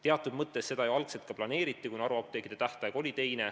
Teatud mõttes seda ju algul ka planeeriti, kuna haruapteekide tähtaeg oli teine.